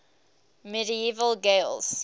medieval gaels